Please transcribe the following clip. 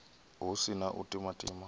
hu si na u timatima